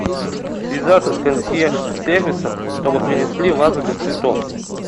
связаться с консьерж сервисом чтобы принесли вазу для цветов